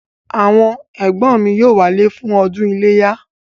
Àwọn ẹ̀gbọ́n mi yóò wálé fún ọdún iléyá